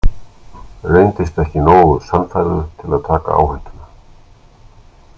Reyndist ekki nógu sannfærður til að taka áhættuna.